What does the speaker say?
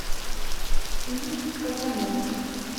фильм казанова